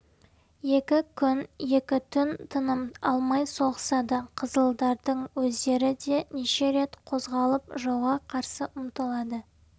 екі күн екі түн тыным алмай соғысады қызылдардың өздері де неше рет қозғалып жауға қарсы ұмтылады